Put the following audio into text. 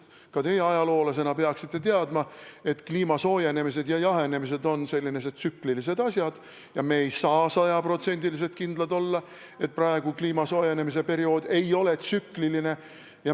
Ka teie ajaloolasena peaksite teadma, et kliima soojenemine ja jahenemine on tsükliline asi ning me ei saa sada protsenti kindlad olla, et praegune kliima soojenemine ei ole tsüklilisuse tulemus.